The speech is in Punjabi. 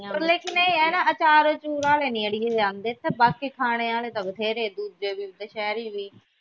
ਪਰ ਲੇਕਿਨ ਇਹ ਆ ਨਾ ਅਚਾਰ ਉਚਾਰ ਆਲੇ ਨਹੀਂ ਅੜੀਏ ਇਹ ਆਂਦੇ ਬਾਕੀ ਖਾਣੇ ਆਲੇ ਤਾ ਬਥੇਰੇ ਦੂਜੇ ਤੀਜੇ ਸਹਿਰੀ ਵੀ